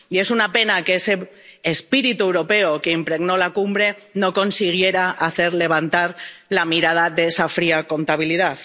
Y es una pena que ese espíritu europeo que impregnó la cumbre no consiguiera hacer levantar la mirada de esa fría contabilidad.